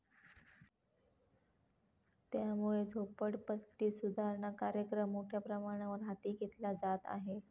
त्यामुळे झोपडपट्टी सुधारणा कार्यक्रम मोठ्या प्रमाणावर हाती घेतला जात आहे.